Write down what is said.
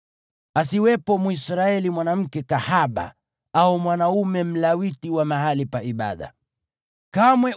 Asiwepo Mwisraeli mwanamke kahaba au mwanaume hanithi wa mahali pa kuabudia miungu.